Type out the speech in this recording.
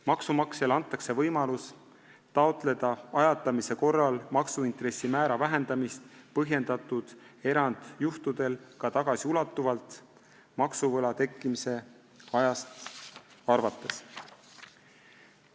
Maksumaksjale antakse võimalus taotleda ajatamise korral maksuintressi määra vähendamist põhjendatud erandjuhtudel ka tagasiulatuvalt maksuvõla tekkimise ajast arvates.